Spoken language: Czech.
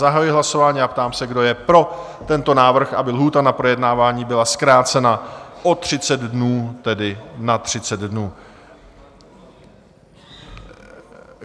Zahajuji hlasování a ptám se, kdo je pro tento návrh, aby lhůta na projednávání byla zkrácena o 30 dnů, tedy na 30 dnů?